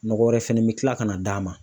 Nɔgɔ wɛrɛ fɛnɛ bɛ kila ka na d'a ma.